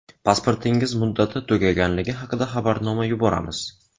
Pasportingiz muddati tugaganligi haqida xabarnoma yuboramiz!.